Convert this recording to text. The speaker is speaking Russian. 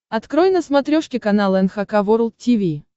открой на смотрешке канал эн эйч кей волд ти ви